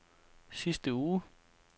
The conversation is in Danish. sidste uge